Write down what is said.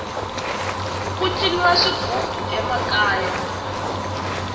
ku ciniwa swighubu emakaya